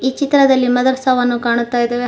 ಈ ಚಿತ್ರದಲ್ಲಿ ಮದರಸಾವನ್ನು ಕಾಣುತ್ತಾ ಇದಾವೆ.